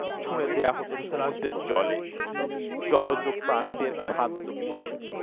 ছুঁড়ে দেওয়া হত সমুদ্রের জলে জলজ প্রাণীদের খাদ্য হিসেবে